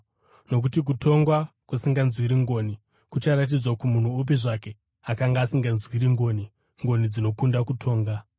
nokuti kutonga kusinganzwiri ngoni kucharatidzwa kumunhu upi zvake akanga asinganzwiri ngoni. Ngoni dzinokunda kutonga!